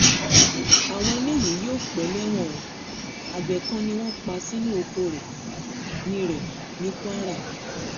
àwọn eléyìí yóò pẹ́ lẹ́wọ̀n o àgbẹ̀ kan ni wọ́n pa sínú ọkọ̀ rẹ̀ ní rẹ̀ ní kwara